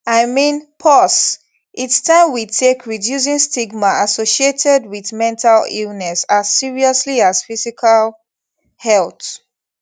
i mean pause its taim we take reducing stigma associated wit mental illness as seriously as physical health